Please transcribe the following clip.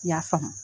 I y'a faamu